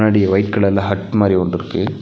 முன்னாடியே ஒயிட் கலர்ல ஹட் மாரி ஒன்ருக்கு.